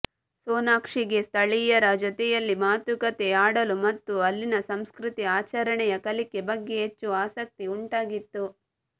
ಸೋನಾಕ್ಷಿಗೆ ಸ್ಥಳೀಯರ ಜೊತೆಯಲ್ಲಿ ಮಾತುಕತೆ ಆಡಲು ಮತ್ತು ಅಲ್ಲಿನ ಸಂಸ್ಕೃತಿ ಆಚರಣೆಯ ಕಲಿಕೆ ಬಗ್ಗೆ ಹೆಚ್ಚು ಆಸಕ್ತಿ ಉಂಟಾಗಿತ್ತು